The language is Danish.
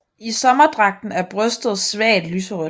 I sommerdragten er brystet svagt lyserødt